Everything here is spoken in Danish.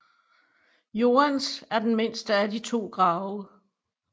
Joans er den mindste af de to grave